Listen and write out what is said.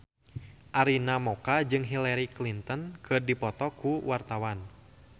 Arina Mocca jeung Hillary Clinton keur dipoto ku wartawan